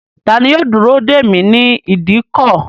Tani yóò dúró dèmí ni ìdíkọ̀?